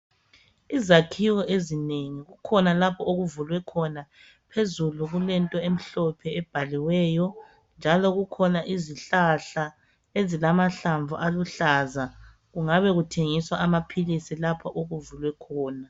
Izakhiiwo ezinengi, kukhona lapha okuvulwe khona. Phezulu, kulento emhlophe. Okubhalwe khona. Kukhona izihlahla, Kungabe kuthengiswa amaphilisi lapha okuvulwe khona.